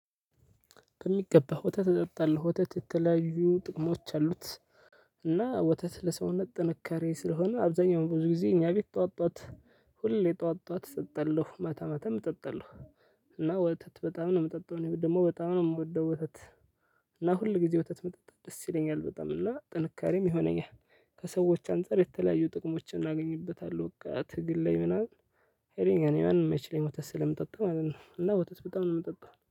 ከሚገባው ወተት እጠጣለሁ ወተት የተለያዩ ጥቅሞች አሉት። እና ወተት ለሰውነት ጥንካሬ ስለሆነ አብዛኛው ብዙ ጊዜ እኛ ቤት ጠዋት ጠዋት ሁሌ ጠዋት ጠዋት እጠጣለሁ ማታ ማታም እጠጣለሁ። እና ወተት በጣም ነው የምጠጣው ደግሞ በጣም ነው የምወደው ወተት። እና ሁልጊዜ ወተት መጠጣት ደስ ይለኛል በጣም እና ጥንካሬም ይሆነኛል። ከሰዎች አንፃር የተለያዩ ጥቅሞችን አግኝበታለሁ በቃ ትግል ላይ ምናምን። ሀይለኛ ነኝ ማንም አይችለኝም ወተት ስለምጠጣ ማለት ነው። እና ወተት በጣም ነው የምጠጣው